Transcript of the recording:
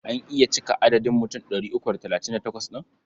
An iya cika adadin mutum ɗari uku da talatin da takwas ɗin?